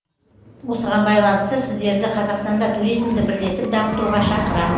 осыған байланысты сіздерді қазақстанда туризмді бірлесіп дамытуға шақырамын